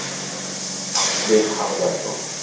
Atli Harðarson.